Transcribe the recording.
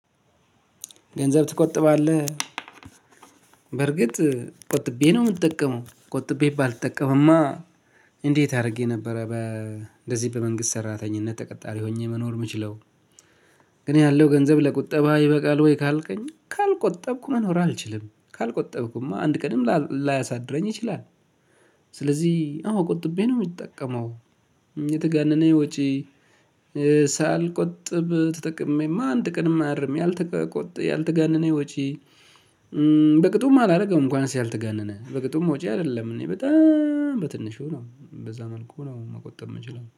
ገንዘብ ትቆጥባለህ? በርግጥ ቆጥቤ ነው የምትጠቀመው ቆጥቤ ባልጠቀምማ እንዴት አድርጌ ነበረ በ እንደዚህ በመንግስት ሰራተኝነት ተቀጣሪ ሆኜ መኖር የምችለው። ግን ያለው ገንዘብ ለቁጠባ ይበቃል ወይ? ካልከኝ ካልቆጠብኩ መኖር አልችልም ካልቆጠብኩማ አንድ ቀድም ላያሳድረኝ ይችላል። ስለዚህ አዎ ቆጥቤ ነው የምትጠቀመው የተጋነነ ወጪ። ሳልቆጥብ ተጠቅሜማ አንድ ቀንም አያድርም። ያልተጋነነ ወጪ በቅጡም አላደርግም እንኳን ያልተጋነነ በቅጡም ወጪ አይደለም እኔ በጣም በትንሹ ነው በዛ መልኩ ነው መቆጠብ የምችለው